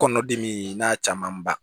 Kɔnɔdimi n'a camanba